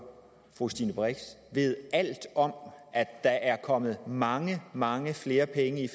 fru stine brix ved alt om at der er kommet mange mange flere penge